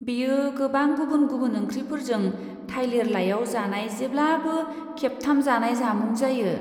बेयो गोबां गुबुन गुबुन ओंख्रिफोरजों थाइलिर लाइयाव जानाय जेब्लाबो खेबथाम जानाय जामुं जायो।